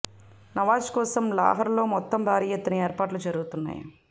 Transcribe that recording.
నవాజ్ కోసం లాహార్లో మొత్తం భారీ ఎత్తున ఏర్పాట్లు జరుగుతున్నాయి